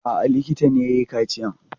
A'a, likita ne ya yi kaciyan.